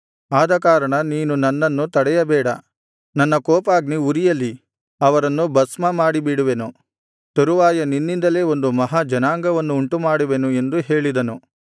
ಆದಕಾರಣ ನೀನು ನನ್ನನ್ನು ತಡೆಯಬೇಡ ನನ್ನ ಕೋಪಾಗ್ನಿ ಉರಿಯಲಿ ಅವರನ್ನು ಭಸ್ಮಮಾಡಿಬಿಡುವೆನು ತರುವಾಯ ನಿನ್ನಿಂದಲೇ ಒಂದು ಮಹಾ ಜನಾಂಗವನ್ನು ಉಂಟುಮಾಡುವೆನು ಎಂದು ಹೇಳಿದನು